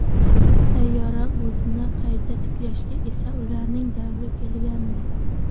Sayyora o‘zini qayta tiklagach esa ularning davri kelgandi.